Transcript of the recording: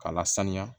K'a lasaniya